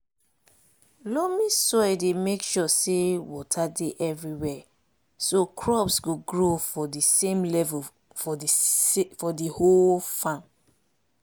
loamy soil dey make sure say water dey everywhere so crops go grow for di same level for di whole farm